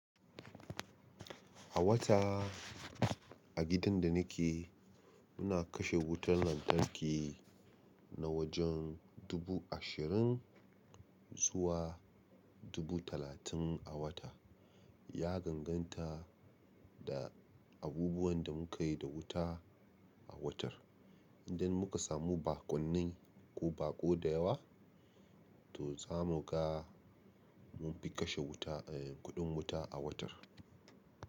A wata a gidan da ni ke, muna kashe wutar lantarki na wajen dubu ashirin zuwa dubu talatin a wata. Ya danganta da abubuwan da mu kai da wuta a wutar. Idan muka samu bakunni ko baƙo da yawa, to za mu ga mun fi kashe wuta, eh, kuɗin wuta a watan.